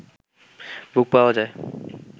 বুক পাওয়া যায়